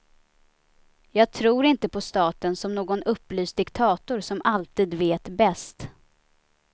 Jag tror inte på staten som någon upplyst diktator som alltid vet bäst.